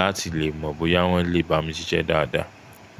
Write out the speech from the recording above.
láti lè mọ̀ bóyá wọ́n lè bá mi ṣiṣẹ́ dáadáa.